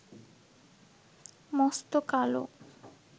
মস্ত কালো